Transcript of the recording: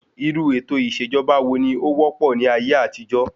Irú ètò ìṣèjọba wo ni ó wópò ní ayé àtijó?